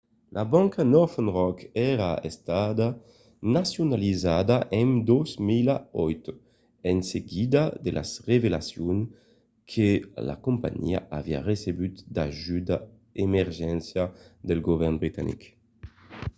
la banca northern rock èra estada nacionalizada en 2008 en seguida de las revelacions que la companhiá aviá recebut d'ajudas d'urgéncia del govèrn britanic